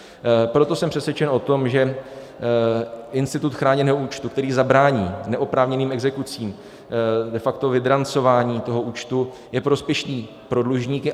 Proto jsem přesvědčen o tom, že institut chráněného účtu, který zabrání neoprávněným exekucím, de facto vydrancování toho účtu, je prospěšný pro dlužníky.